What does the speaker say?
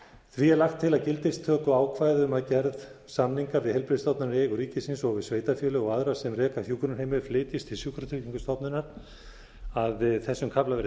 því er lagt til að gildistökuákvæði um að gerð samninga við heilbrigðisstofnanir í eigu ríkisins og við sveitarfélög og aðra sem reka hjúkrunarheimili flytjist til sjúkratryggingastofnunar að þessum kafla verði